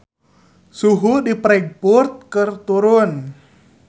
Suhu di Frankfurt keur turun